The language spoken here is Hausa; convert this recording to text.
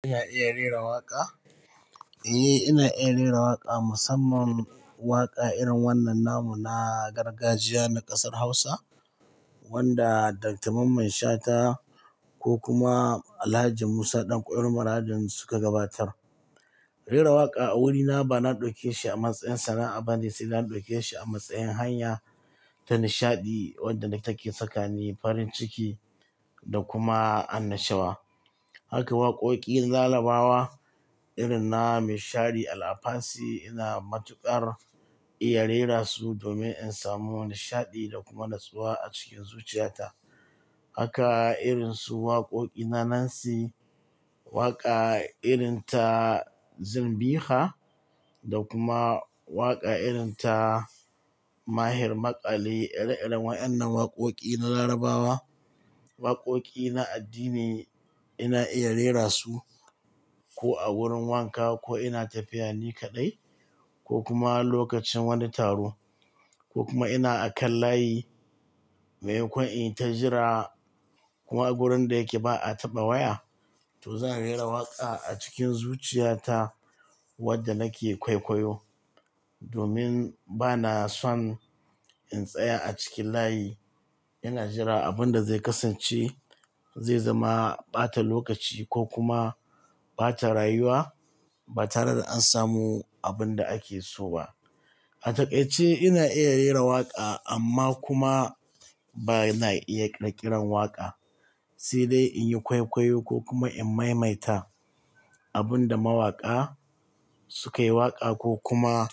Ka iya rera waƙa? Eh, ina iya rera waƙa, musamman waƙa irin wannan namu na gargajiya na ƙasar Hausa wanda Dr. Mamman Shata ko kuma Alhaji Musa ɗanƙwairo Maradin suka gabatar. Rera waƙa a wurina bana ɗauke shi a matsayin sana'a bane sai na ɗauke shi a matsayin hanya ta nishaɗi wadda nake sakani farin ciki da kuma annashuwa. Haka waƙoƙin Larabawa irin na mai shari Al-Afasi ina matuƙar iya rera su domin in samu nishaɗi da kuma natsuwa a cikin zuciyata. Haka irin su waƙoƙi na Nancy, waƙa irin ta Zimbixa da kuma waƙa irin ta Maher Maƙali, iri-irin waɗannan waƙoƙi na Larabawa, waƙoƙi na addini ina iya rera su ko a wurin wanka ko ina tafiya ni kaɗai ko kuma lokacin wani taro ko kuma ina a kan layi mai mako in yi ta jira kuma wurin da yake ba'a taɓa waya to zan rera waƙa a cikin zuciyata wadda nake kwaikwayo domin bana son in tsaya a cikin layi ina jira abin da zai kasance, zai zama ɓata lokaci ko kuma ɓata rayuwa ba tare da an samu abin da ake so ba. A takaice ina iya rera waƙa amma kuma bana iya ƙirƙiran waƙa. Sai dai in yi kwaikwayo ko kuma in maimaita abin da mawaƙa suka yi waƙa ko kuma